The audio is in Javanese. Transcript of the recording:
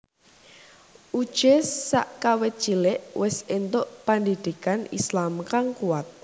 Uje sakawit cilik wis entuk pendhidhikan Islam kang kuat